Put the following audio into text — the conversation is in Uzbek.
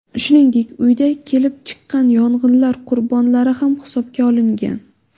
Shuningdek, uyda kelib chiqqan yong‘inlar qurbonlari ham hisobga olingan.